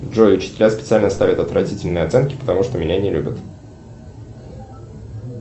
джой учителя специально ставят отвратительные оценки потому что меня не любят